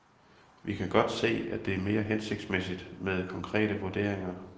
Vi kan godt se, at det er mere hensigtsmæssigt med konkrete vurderinger.